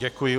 Děkuji.